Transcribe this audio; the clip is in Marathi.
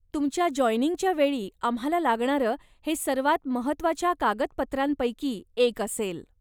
तुमच्या जॉयनिंगच्या वेळी आम्हाला लागणारं हे सर्वात महत्वाच्या कागदपत्रांपैकी एक असेल.